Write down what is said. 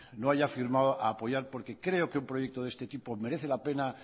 no haya firmado pueda apoyar porque creo que un proyecto de este tipo merece la pena